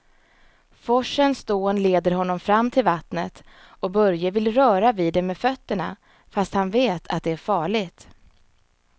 Forsens dån leder honom fram till vattnet och Börje vill röra vid det med fötterna, fast han vet att det är farligt.